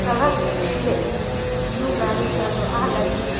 सड़क गुट्ठी रइई हन्नू चलरःआ लगी--